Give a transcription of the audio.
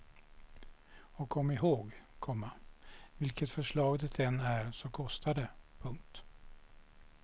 Och kom ihåg, komma vilket förslag det än är så kostar det. punkt